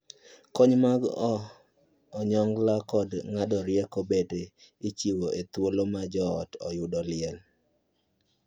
Kony mag onyongla kod ng'ado rieko bende ichiwo e thuolo ma joot oyudo liel.